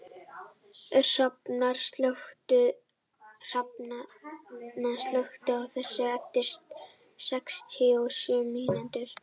Hrafna, slökktu á þessu eftir sextíu og sjö mínútur.